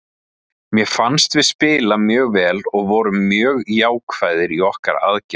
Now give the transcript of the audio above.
Mér fannst við spila mjög vel og vorum mjög jákvæðir í okkar aðgerðum.